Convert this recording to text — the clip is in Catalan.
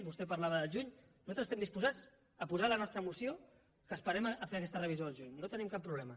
vostè parlava del juny nosaltres estem disposats a posar a la nostra moció que esperem a fer aquesta revisió al juny no hi tenim cap problema